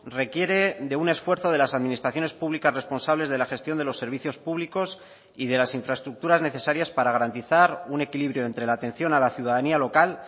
requiere de un esfuerzo de las administraciones públicas responsables de la gestión de los servicios públicos y de las infraestructuras necesarias para garantizar un equilibrio entre la atención a la ciudadanía local